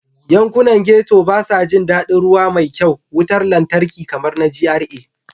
Yankunan Ghetto ba sa jin daɗin ruwa mai kyau, wutar lantarki kamar na GRA.